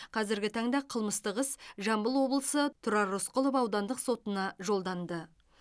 қазіргі таңда қылмыстық іс жамбыл облысы тұрар рысқұлов аудандық сотына жолданды